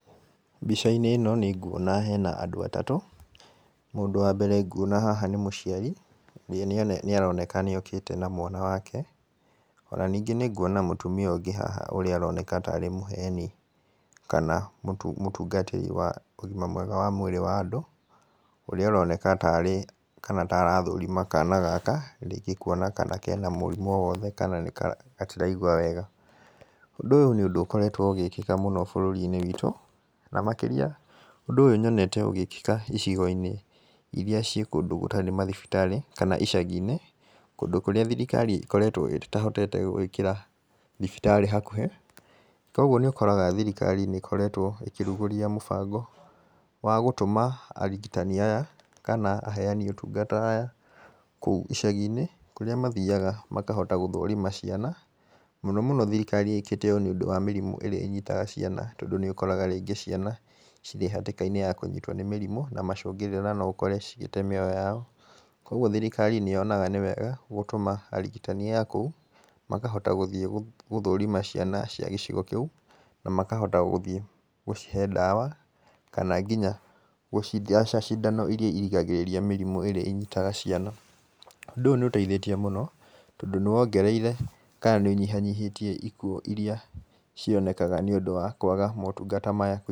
Mbica-inĩ ĩno nĩnguona hena andũ atatũ. Mũndũ wa mbere nguona haha nĩ mũciari na nginya nĩaroneka nĩokĩte na mwana wake, ona ningĩ nĩnguona mũtumia ũngĩ haha ũrĩa ũroneka ta arĩ mũheyani kana mũtungatĩri wa ũgima mwega wa mwĩrĩ wa andũ, ũrĩa ũroneka ta arathũrima kana gaka kuona kana kena mũrimũ o wothe kana gatiraigwa wega. Ũndũ ũyũ nĩ ũndũ ũkoretwo ũgĩkĩka mũno bũrũri-inĩ witũ, na makĩria ũndũ ũyũ nyonete ũgĩkĩka icigo-inĩ iria irĩ kũndũ kũrĩa gũtarĩ mathibitarĩ, kana icagi-inĩ kũndũ kũrĩa thirikari ĩkoretwo ĩtahotete gũkorwo ĩgĩkĩra thibitarĩ hakuhĩ. Koguo nĩ ũkoraga thirikari nĩkoretwo ĩkĩrugũria mũbango wa gũtũma arigitani aya kana aheyani ũtungata aya kũu icagi-inĩ, kũrĩa mathiyaga makahota gũthũrima ciana. Mũno mũno thirikari ĩkĩte ũũ nĩũndũ wa mĩrimũ ĩrĩa ĩnyitaga ciana tondũ nĩũkoraga rĩngĩ ciana irĩ hatĩka-inĩ ya kũnyitwo nĩ mĩrimũ na macũngĩrĩra no ũkore cigĩte mĩoyo yao. Koguo thirikari nĩyonana nĩ wega gũtũma arigitani aya kũu, makahota gũthiĩ gũthũrima ciana cia gĩcigo kĩu, na makahota gũthiĩ gũcihe ndawa kana nginya gũcitheca cindano ĩrĩa ĩrigagĩrĩria mĩrimũ ĩrĩa ĩnyitaga ciana. Ũndũ ũyũ nĩ ũteithĩtiĩ mũno, tondũ nĩ wongereire kana ũkanyihanyihia ikuũ iria cionekaga nĩũndũ wa maũndũ ta maya...